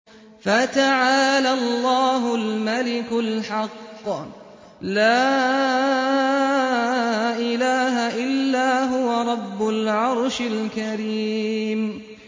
فَتَعَالَى اللَّهُ الْمَلِكُ الْحَقُّ ۖ لَا إِلَٰهَ إِلَّا هُوَ رَبُّ الْعَرْشِ الْكَرِيمِ